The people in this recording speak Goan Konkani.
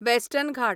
वॅस्टर्न घाट